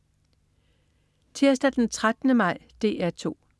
Tirsdag den 13. maj - DR 2: